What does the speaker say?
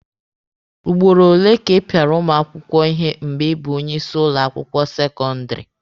Ugboro ole ka ị pịara ụmụ akwụkwọ ihe mgbe ị bụ onye isi ụlọ akwụkwọ sekọndịrị?